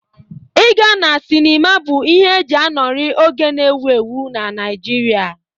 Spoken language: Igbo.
Ịga na sịnịma bụ ihe e ji anọrị oge na-ewu ewu na Naịjirịa.